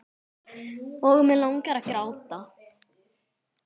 Og mig langar að gráta.